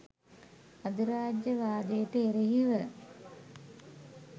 අධිරාජ්‍යවාදයට එරෙහිව